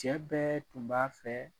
Cɛ bɛɛ tun b'a fɛ